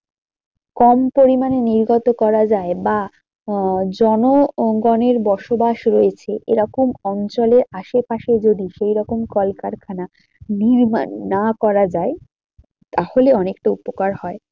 কম পরিমানে নির্গত করা যায় বা আহ জনগণের বসবাস রয়েছে এরকম অঞ্চলে আশেপাশে যদি সেই রকম কলকারখানা নির্মাণ না করা যায় তাহলে অনেকটা উপকার হয়।